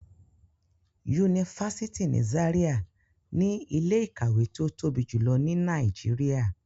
Yunifasiti ni Zaria ni ile-ikawe ti o tobi julọ ni Nàìjíríà